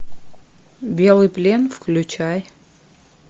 белый плен включай